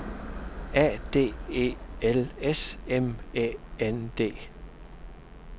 A D E L S M Æ N D